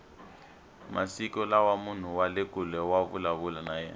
masiku lawa munhu wale kule wa vulavula na yena